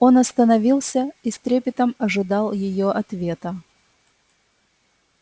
он остановился и с трепетом ожидал её ответа